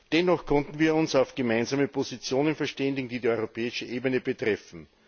Dennoch konnten wir uns auf gemeinsame Positionen verständigen, die die europäische Ebene betreffen.